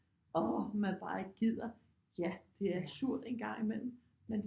Åh man bare ikke gider ja det er surt en gang i mellem men